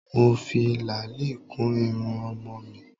Mo fi làálì kun irun ọmọ mi